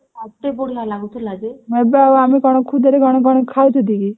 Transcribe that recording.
ଏବେ ଆଉ ଆମେ କଣ କଣ ଖଉଛୁ ଟିକେ